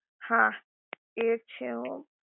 હા એ છે હો